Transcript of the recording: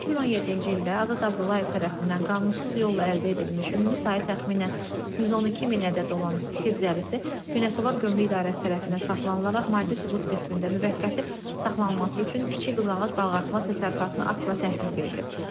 2017-ci ildə Azad Abdullayev tərəfindən qanunsuz yolla əldə edilmiş, ümumi sayı təxminən 112000 ədəd olan tibb zəlisi Beyləqan Gömrük İdarəsi tərəfindən saxlanılaraq, maddi sübut qismində müvəqqəti saxlanılması üçün kiçik qızıl ağac balıqartırma təsərrüfatına aktla təhvil verilib.